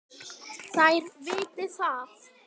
Þær viti það.